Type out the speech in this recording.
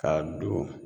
Ka don